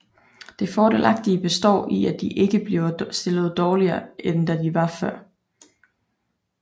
Det fordelagtige består i at de ikke bliver stillet dårligere end de var før